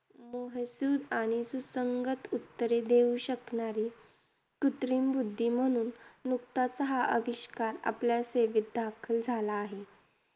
मुद्देसूद आणि सुसंगत उत्तरे देऊ शकणारी कृत्रिम बुद्धी म्हणून नुकताच हा अविष्कार आपल्या सेवेत दाखल झाला आहे.